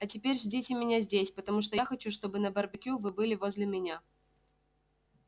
а теперь ждите меня здесь потому что я хочу чтобы на барбекю вы были возле меня